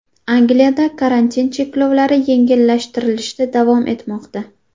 Angliyada karantin cheklovlari yengillashtirilishda davom etmoqda.